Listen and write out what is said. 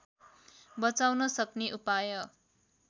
बचाउन सक्ने उपाय